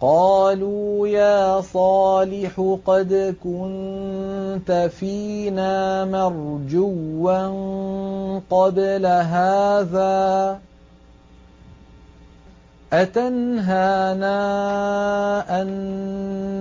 قَالُوا يَا صَالِحُ قَدْ كُنتَ فِينَا مَرْجُوًّا قَبْلَ هَٰذَا ۖ أَتَنْهَانَا أَن